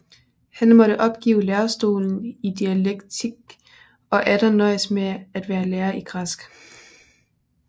Han måtte opgive lærestolen i dialektik og atter nøjes med at være lærer i græsk